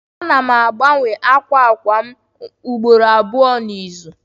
Ana m agbanwe akwa akwa m ugboro abụọ n'izu.